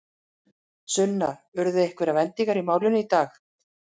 Sunna, urðu einhverjar vendingar í málinu í dag?